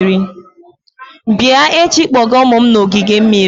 Bịa echi kpọga ụmụ m na ogige mmiri!